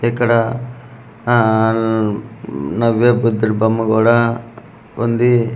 ఇక్కడ ఆ ఉమ్ నవ్వే బుద్దుడి బొమ్మ కూడా ఉంది.